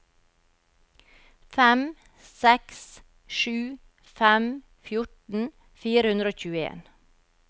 fem seks sju fem fjorten fire hundre og tjueen